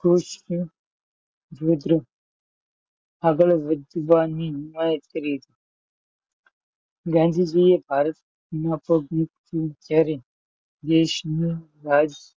આગળ વધવાની મૈત્રી ગાંધીજીએ ભારતમાં પગ મુક્યો ત્યારે દેશનો